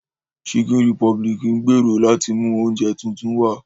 Chicken republic ń gbèrò láti mú oúnjẹ tuntun wá